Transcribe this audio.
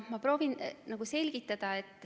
Ma proovin selgitada.